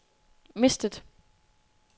mistet